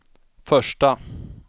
första